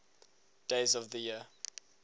days of the year